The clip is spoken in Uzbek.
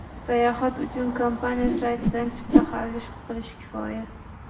Sayohat uchun kompaniya saytidan chipta xarid qilish kifoya.